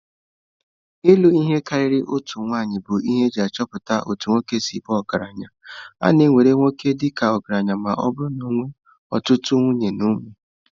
Ịlụ ihe karịrị otu nwanyị bụ ihe eji achọpụta otú nwoke si baa ọgaranya. A na-ewere nwoke dị ka ọgaranya ma ọ bụrụ na ọ nwere ọtụtụ nwunye na ụmụ.